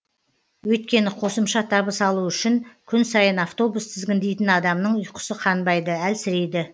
өйткені қосымша табыс алу үшін күн сайын автобус тізгіндейтін адамның ұйқысы қанбайды әлсірейді